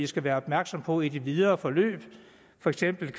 skal være opmærksomme på i det videre forløb for eksempel